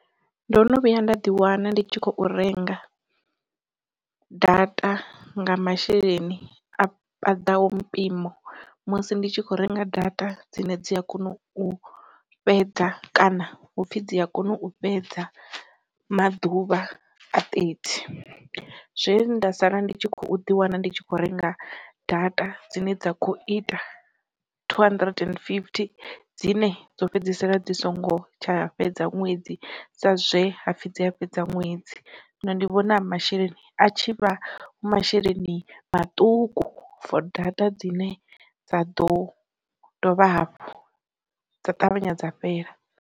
Ndo no vhuya nda ḓi wana ndi tshi khou renga data nga masheleni a paḓaho mpimo musi ndi tshi kho renga data dzine dzi a kona u fhedza kana hupfi dzi a kona u fhedza maḓuvha a thirty, zwe nda sala ndi tshi kho ḓi wana ndi tshi kho renga data dzine dza khou ita two hundred and fifty dzine dzo fhedzisela dzi songo tsha fhedza ṅwedzi sa zwe hapfi dzi a fhedza ṅwedzi. Zwino ndi vhona masheleni a tshi vha hu masheleni maṱuku for data dzine dza ḓo dovha hafhu dza ṱavhanya dza fhela.